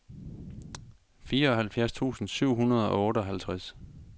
fireoghalvfjerds tusind syv hundrede og otteoghalvtreds